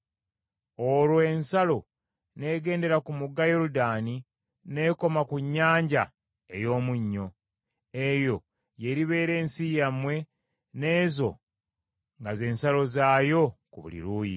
Olwo ensalo n’egendera ku mugga Yoludaani n’ekoma ku Nnyanja ey’Omunnyo. “ ‘Eyo y’eribeera ensi yammwe, n’ezo nga ze nsalo zaayo ku buli luuyi.’ ”